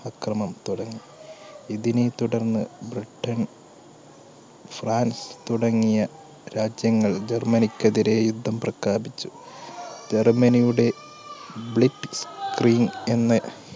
അക്രമം തുടങ്ങി ഇതിനെ തുടർന്ന് ബ്രിട്ടൻ ഫ്രാൻസ് തുടങ്ങിയ രാജ്യങ്ങൾ ജർമ്മനിക്കെതിരെ യുദ്ധം പ്രഖ്യാപിച്ചു. ജർമ്മനിയുടെ blitzkrieg എന്ന